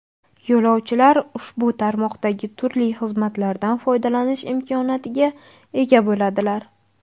Yo‘lovchilar ushbu tarmoqdagi turli xizmatlardan foydalanish imkoniyatiga ega bo‘ladilar.